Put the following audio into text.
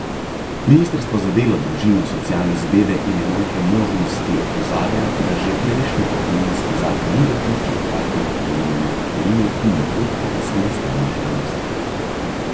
Ministrstvo za delo, družino, socialne zadeve in enake možnosti opozarja, da že prejšnji pokojninski zakon ni dopuščal hkratnega prejemanja pokojnine in dohodka iz samostojne dejavnosti.